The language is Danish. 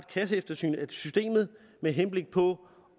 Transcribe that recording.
kasseeftersyn af systemet med henblik på